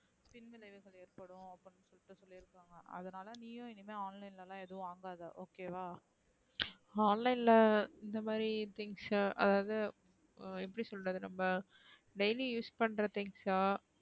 அதுனால நீயும் இனிமே online லா ஏதும் வாங்காத okay வா online லா இந்த மாத்ரி things அதாவது எப்டி சொல்றது நம்ம daily use பண்ற things அ